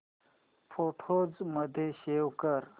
photos मध्ये save कर